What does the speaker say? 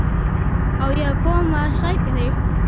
Á ég að koma að sækja þig?